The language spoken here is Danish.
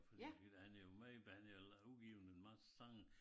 Fordi eller han er jo meget han er eller udgiven en masse sange